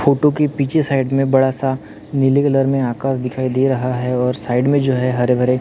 photo के पीछे side में बड़ा सा नीले कलर में आकाश दिखाई दे रहा है और साइड में जो है हरे भरे--